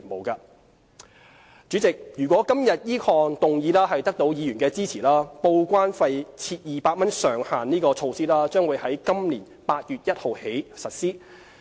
代理主席，如果今天此項決議案得到議員支持，報關費設200元上限的措施將於今年8月1日起實施。